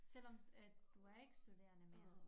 Selvom at du er ikke studerende mere